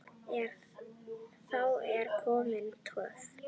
Þá er komin töf.